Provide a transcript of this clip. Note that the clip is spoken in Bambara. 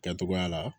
Kɛcogoya la